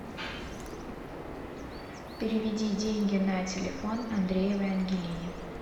переведи деньги на телефон андреевой ангелине